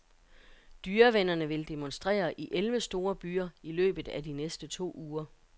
Dyrevennerne vil demonstrere i elleve store byer i løbet af de næste to uger.